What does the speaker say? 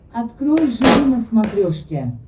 открой живи на смотрешке